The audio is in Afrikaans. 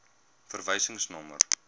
verwysingsnommer